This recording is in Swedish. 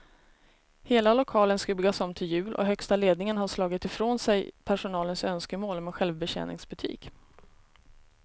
Hela lokalen ska byggas om till jul och högsta ledningen har slagit ifrån sig personalens önskemål om en självbetjäningsbutik.